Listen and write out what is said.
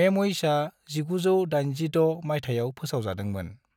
मेम'इर्सआ 1986 माइथायाव फोसावजादोंमोन।